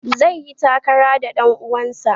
Zai yi takara da ɗan uwansa.